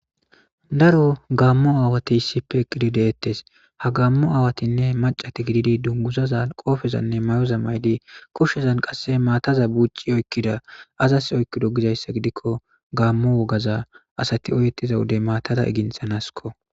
Daro gaammo aawati issipeqqidi deettes ha gaammo aawatinne macati gididi dunguzaza qoofezanne may7oza maydi koshshezan qasse maataza bucci oykkida azas oykki do gizayssa gidikko gaammo wogaza asati oyeettiza wodey maatada iginthanasko.